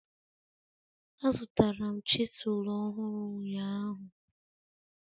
Azụtara m chisilu ọhụrụ ụnyahụ.